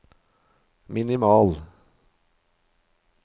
minimal